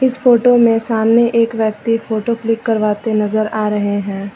इस फोटो में सामने एक व्यक्ति फोटो क्लिक करवाते नजर आ रहे हैं।